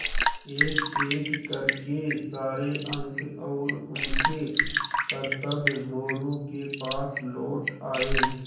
एकएक कर के सारे अंक और उनके करतब मोरू के पास लौट आये